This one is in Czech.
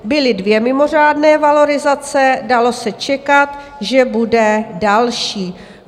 Byly dvě mimořádné valorizace, dalo se čekat, že bude další.